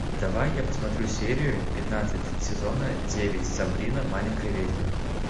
давай я посмотрю серию пятнадцать сезона девять сабрина маленькая ведьма